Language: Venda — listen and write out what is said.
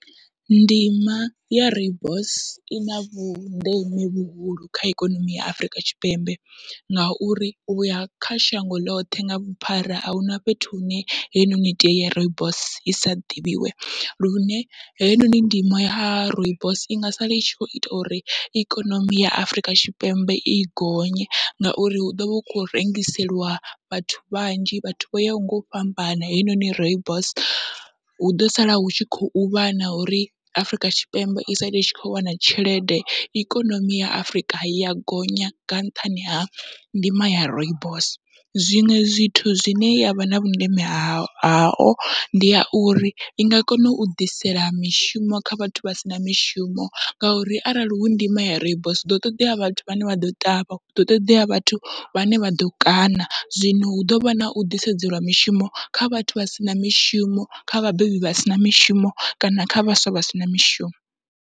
Ndima ya rooibos ina vhundeme vhuhulu kha ikonomi ya Afurika Tshipembe, ngauri uya kha shango ḽoṱhe nga vhuphara ahuna fhethu hune heinoni tie ya rooibos isa ḓivhiwe, lune heinoni ndimo ya rooibos inga sala itshi kho ita uri ikonomi ya Afurika Tshipembe i gonye, ngauri hu ḓovha hu kho rengiseliwa vhathu vhanzhi vhathu vho yaho ngau fhambana heinoni rooibos, huḓo sala hu tshi khou vha na uri Afrika Tshipembe i sala i tshi kho wana tshelede ikonomi ya Afurika ya gonya nga nṱhani ha ndima ya rooibos. Zwiṅwe zwithu zwine yavha na vhundeme hayo haho ndi ya uri inga kona u ḓisela mishumo kha vhathu vha sina mishumo, ngauri arali hu ndimo ya rooibos huḓo ṱoḓea vhathu vhane vha ḓo ṱavha huḓo ṱoḓea vhathu vhane vha ḓo kaṋa, zwino hu ḓovha nau ḓisedzelwa mishumo kha vhathu vha sina mishumo kha vhabebi vha sina mishumo kana kha vhaswa vha sina mishumo.